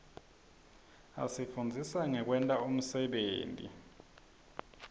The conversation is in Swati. asifundzisa ngekwenta umsebenti